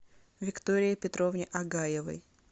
виктории петровне агаевой